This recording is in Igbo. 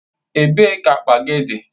Ebee ka akpa gị dị?